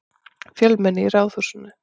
Fjölmenni í Ráðhúsinu